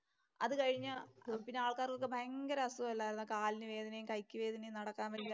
അതുകഴിഞ്ഞ് പിന്നെ ആൾക്കാർക്ക് ഒക്കെ ഭയങ്കര അസുഖമല്ലായിരുന്നോ. കാലിനു വേദനയും, കൈയ്ക്ക് വേദനയും നടക്കാന്‍ വയ്യായ്കയും